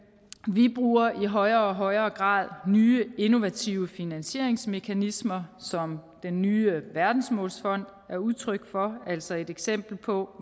vi bruger i højere og højere grad nye innovative finansieringsmekanismer som den nye verdensmålsfond er udtryk for altså et eksempel på